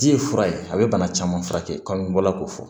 Di ye fura ye a be bana caman furakɛ kaban n bɔla k'o fɔ